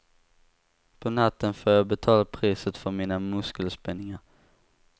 På natten får jag betala priset för mina muskelspänningar.